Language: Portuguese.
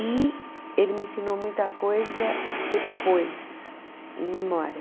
E ele me ensinou muita coisa depois, em memória.